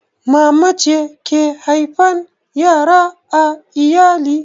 Mama ce take haifan yara a iyali